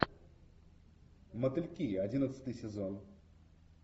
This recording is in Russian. мотыльки одиннадцатый сезон